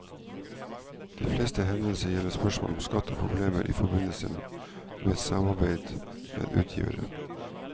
De fleste henvendelsene gjelder spørsmål om skatt og problemer i forbindelse med samarbeid med utgivere.